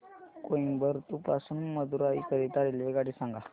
कोइंबतूर पासून मदुराई करीता रेल्वेगाडी सांगा